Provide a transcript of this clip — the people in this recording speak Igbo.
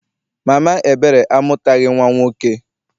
Mama Ebere amụtaghị nnwa nwoke.